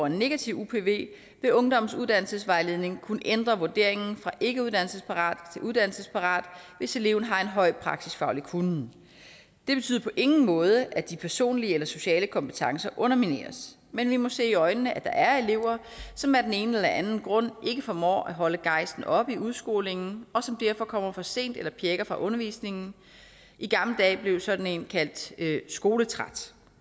en negativ upv vil ungdommens uddannelsesvejledning kunne ændre vurderingen fra ikkeuddannelsesparat til uddannelsesparat hvis eleven har en høj praksisfaglig kunnen det betyder på ingen måde at de personlige eller sociale kompetencer undermineres men vi må se i øjnene at der er elever som af den ene eller anden grund ikke formår at holde gejsten oppe i udskolingen og som derfor kommer for sent eller pjækker fra undervisningen i gamle dage blev sådan en kaldt skoletræt